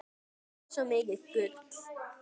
Þú ert svo mikið gull.